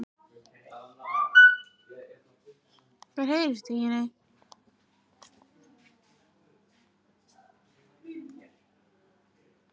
Kristján: Mun það ógna byggðinni?